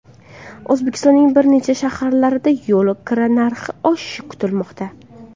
O‘zbekistonning bir necha shaharlarida yo‘l kira narxi oshishi kutilmoqda.